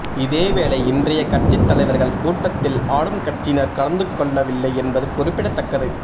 இதேவேளை இன்றைய கட்சித் தலைவர்கள் கூட்டத்தில் ஆளும் கட்சியினர் கலந்துகொள்ளவில்லை என்பது குறிப்பிடத்தக்கது